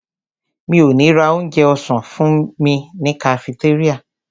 Mi ò ní ra onjẹ ọ̀sán fúnmi ní kafitéríà.